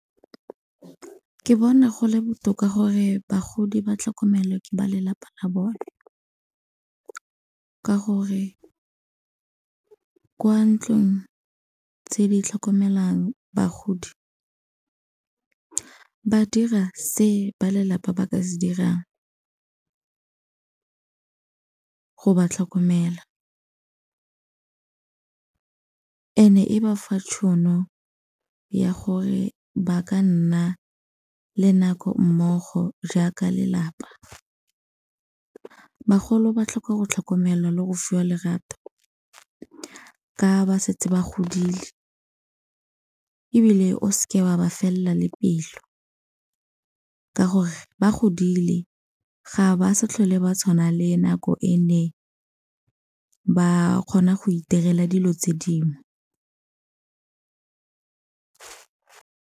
Ke bona go le botoka gore bagodi ba tlhokomelwa ke ba lelapa la bone, ka gore kwa ntlong tse di tlhokomelang bagodi ba dira se ba lelapa ba ka se dirang go ba tlhokomela, and-e e ba fa tšhono ya gore ba ka nna le nako mmogo jaaka lelapa. Bagolo ba tlhoka go tlhokomelwa le go fiwa lerato ka ba setse ba godile, ebile o seke wa ba felela le pelo ka gore ba godile ga ba sa tlhole ba tshwana le nako e ne ba kgona go itirela dilo tse dingwe.